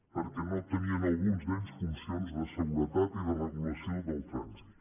perquè no tenien alguns d’ells funcions de seguretat i de regulació del trànsit